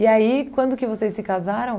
E aí, quando que vocês se casaram?